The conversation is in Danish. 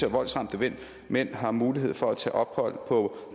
voldsramte mænd har mulighed for at tage ophold på